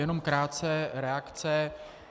Jenom krátce reakce.